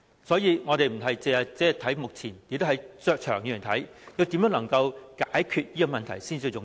所以，我們不只是看目前，而是長遠來看，我們如何能夠解決這問題才是最重要。